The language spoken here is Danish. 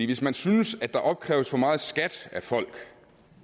hvis man synes at der opkræves for meget i skat af folk